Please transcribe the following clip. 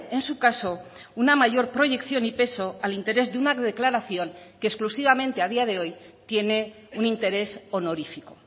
en su caso una mayor proyección y peso al interés de una declaración que exclusivamente a día de hoy tiene un interés honorífico